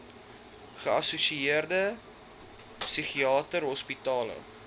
geassosieerde psigiatriese hospitale